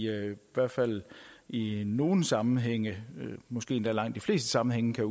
hvert fald i nogle sammenhænge måske endda i langt de fleste sammenhænge kan